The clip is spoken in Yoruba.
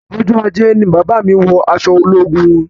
Ọjọ ajé ni bàbá mí wọ aṣọ ológun wọn